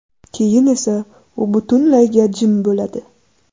Keyin esa u butunlayga jim bo‘ladi.